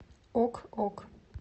ок ок